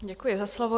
Děkuji za slovo.